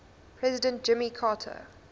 president jimmy carter